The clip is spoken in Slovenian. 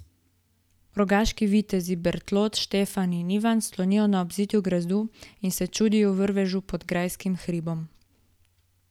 Rogaški vitezi Bertold, Štefan in Ivan slonijo na obzidju gradu in se čudijo vrvežu pod grajskim hribom.